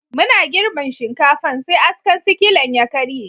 Muna girbin shinkafan, sai askan sikilan ya karye.